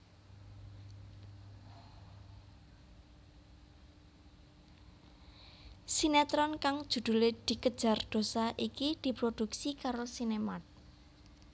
Sinetron kang judhulé Dikejar Dosa iki diprodhuksi karo SinemArt